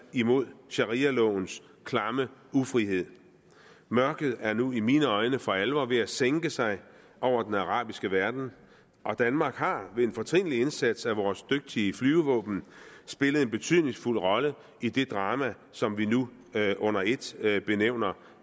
mod sharialovens klamme ufrihed mørket er nu i mine øjne for alvor ved at sænke sig over den arabiske verden og danmark har ved en fortrinlig indsats af vores dygtige flyvevåben spillet en betydningsfuld rolle i det drama som vi nu under ét benævner